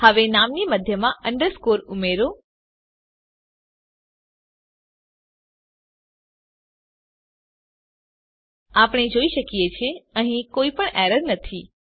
હવે નામની મધ્યમાં અંડરસ્કોર ઉમેરો આપણે જોઈએ છીએ કે અહીં કોઈપણ એરર નથી